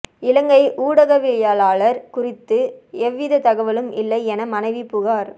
இலங்கை ஊடகவியலாளர் குறித்து எவ்வித தகவலும் இல்லை என மனைவி புகார்